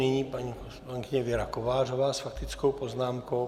Nyní paní poslankyně Věra Kovářová s faktickou poznámkou.